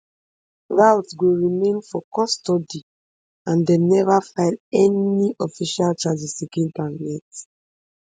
routh go remain for custody and dem neva file any official charges against am yet